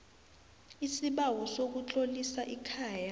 isibawo sokutlolisa ikhaya